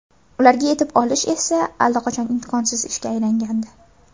Ularga yetib olish esa allaqachon imkonsiz ishga aylangandi.